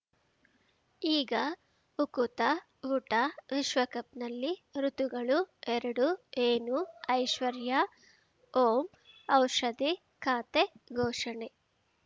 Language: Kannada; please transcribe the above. ಈಗ ಉಕುತ ಊಟ ವಿಶ್ವಕಪ್‌ನಲ್ಲಿ ಋತುಗಳು ಎರಡು ಏನು ಐಶ್ವರ್ಯಾ ಓಂ ಔಷಧಿ ಖಾತೆ ಘೋಷಣೆ